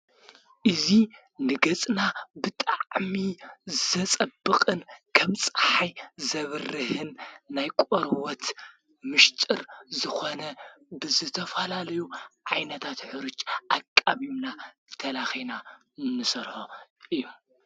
እዙ ንገጽና ብጣዕሚ ዘጸብቕን ከም ፀሓይ ዘብርህን ናይ ቖርወት ምሽጢር ዝኾነ ብዘተፈላልዩ ዓይነታት ሕርጭ ኣቃሚምና ተላኸና እንሠርሖ እዩ።